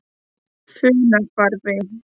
Funahvarfi